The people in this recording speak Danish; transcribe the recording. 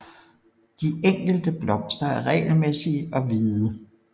De enkelte blomster er regelmæssige og hvide